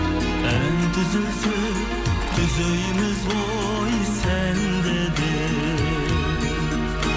ән түзелсе түзейміз ғой сәнді де